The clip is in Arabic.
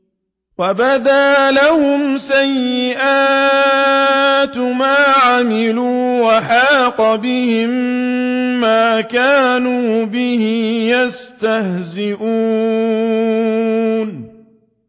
وَبَدَا لَهُمْ سَيِّئَاتُ مَا عَمِلُوا وَحَاقَ بِهِم مَّا كَانُوا بِهِ يَسْتَهْزِئُونَ